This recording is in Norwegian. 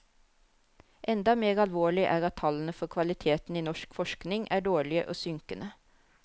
Enda mer alvorlig er at tallene for kvaliteten i norsk forskning er dårlige og synkende.